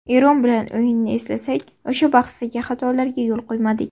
Eron bilan o‘yinni eslasak, o‘sha bahsdagi xatolarga yo‘l qo‘ymadik.